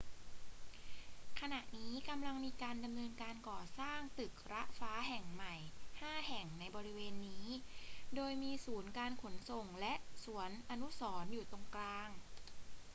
ขณะนี้กำลังมีการดำเนินการก่อสร้างตึกระฟ้าแห่งใหม่ห้าแห่งในบริเวณนี้ โดยมีศูนย์การขนส่งและสวนอนุสรณ์อยู่ตรงกลาง